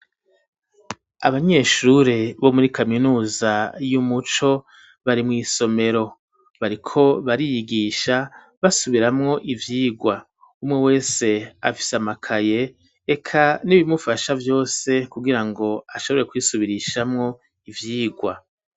Abanyeshure bo muri kaminuza y'umuco bari mw’isomero bariko bariyigisha basubiramwo ivyigwa, umwe wese afise amakaye eka n'ibimufasha vyose kugira ngo ashobore kwisubirishamwo ivyigwa.